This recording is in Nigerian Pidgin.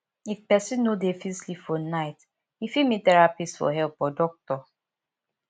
if person no dey fit sleep for night im fit meet therapist for help or doctor